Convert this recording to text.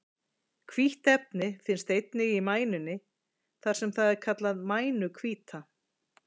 Hvítt efni finnst einnig í mænunni þar sem það er kallað mænuhvíta.